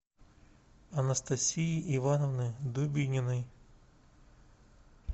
анастасии ивановны дубининой